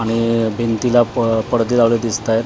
आणि भिंतीला प पडदे लावलेले दिसत आहेत .